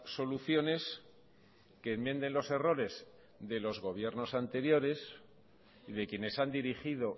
soluciones que enmienden los errores de los gobiernos anteriores y de quienes han dirigido